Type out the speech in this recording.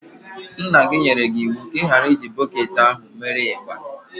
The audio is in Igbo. Nna gi nyere gị iwu ka ighara iji bọketi ahụ mere igba.